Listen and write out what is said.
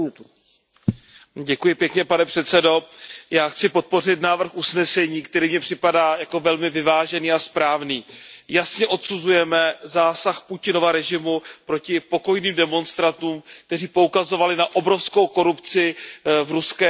Pane předsedající, já chci podpořit návrh usnesení, který mně připadá jako velmi vyvážený a správný. Jasně odsuzujeme zásah Putinova režimu proti pokojným demonstrantům, kteří poukazovali na obrovskou korupci v ruské vládnoucí oligarchii.